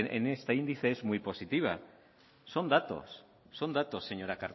en este índice es muy positiva son datos son datos señora